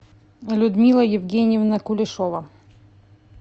людмила евгеньевна кулешова